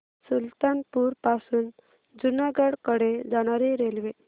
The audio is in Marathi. सुल्तानपुर पासून जुनागढ कडे जाणारी रेल्वे